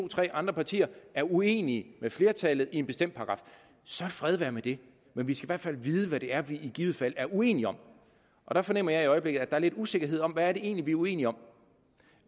tre andre partier er uenige med flertallet om en bestemt paragraf så fred være med det men vi skal i hvert fald vide hvad det er vi i givet fald er uenige om jeg fornemmer at der i øjeblikket er lidt usikkerhed om hvad det egentlig er uenige om